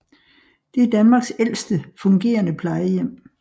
Det er Danmarks ældste fungerende plejehjem